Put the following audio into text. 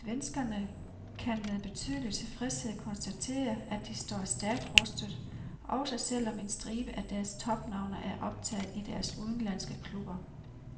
Svenskerne kan med betydelig tilfredshed konstatere, at de står stærkt rustet, også selv om en stribe af deres topnavne er optaget i deres udenlandske klubber.